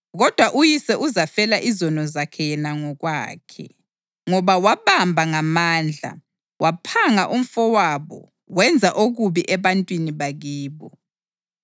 Kodwa uyise uzafela izono zakhe yena ngokwakhe, ngoba wabamba ngamandla, waphanga umfowabo wenza okubi ebantwini bakibo.